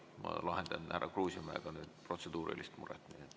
Ma lahendan härra Kruusimäega protseduurilist muret.